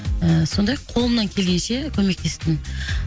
ы сондай қолымнан келгенше көмектестім